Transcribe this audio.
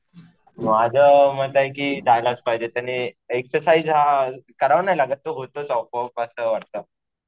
माझ्या मत आहे कि जायलाच पाहिजे. त्यांनी एक्सरसाइज हा करावं नाही लागत. तो होतोच आपोआप असं वाटतं.